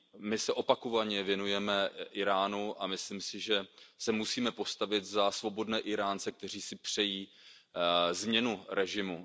My se opakovaně věnujeme Íránu a myslím si, že se musíme postavit za svobodné Íránce, kteří si přejí změnu režimu.